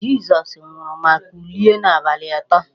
Jizọs nwụrụ ma kulie n'abalị atọ.